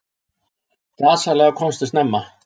Gasalega komstu snemma.